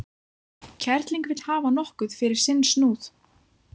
Kerling vill hafa nokkuð fyrir sinn snúð.